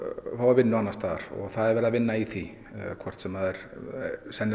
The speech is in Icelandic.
fái vinnu annars staðar og það er verið að vinna í því hvort sem